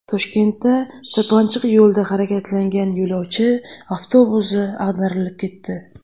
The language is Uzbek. Toshkentda sirpanchiq yo‘lda harakatlangan yo‘lovchi avtobusi ag‘darilib ketdi.